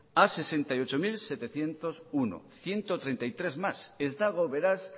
a sesenta y ocho mil setecientos uno ehun eta hogeita hamairu más ez dago beraz